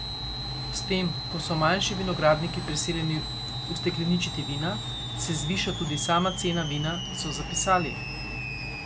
S tem, ko so manjši vinogradniki prisiljeni ustekleničiti vina, se zviša tudi sama cena vina, so zapisali.